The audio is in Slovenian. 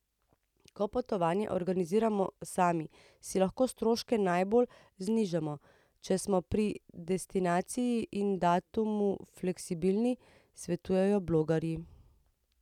Ko potovanje organiziramo sami, si lahko stroške najbolj znižamo, če smo pri destinaciji in datumu fleksibilni, svetujejo blogerji.